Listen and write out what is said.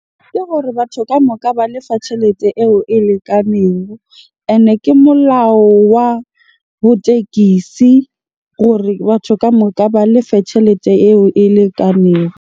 Ke gore batho kamoka ba lefa tjhelete eo e lekaneng. Ene ke molao wa ho tekisi gore batho kamoka ba lefe tjhelete eo e lekaneng.